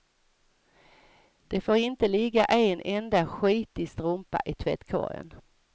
Det får inte ligga en enda skitig strumpa i tvättkorgen.